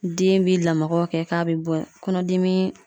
Den bi lamagaw kɛ k'a be bɔ kɔnɔdimi